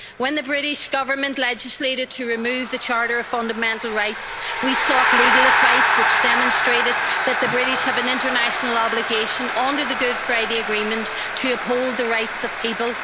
When the British Government legislated to remove the Charter of Fundamental Rights, we sought legal advice which demonstrated that the British have an international obligation under the Good Friday Agreement to uphold the rights of people.